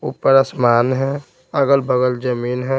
ऊपर आसमान है अगल-बगल जमीन है।